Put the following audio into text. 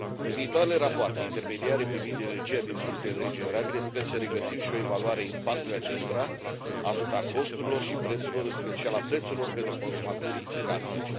În viitoarele rapoarte intermediare privind energia din surse regenerabile sper să regăsim și o evaluare a impactului acestora asupra costurilor și a prețurilor, în special a prețurilor pentru consumatorii casnici.